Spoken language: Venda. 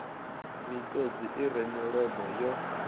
miṱodzi i re milomo yo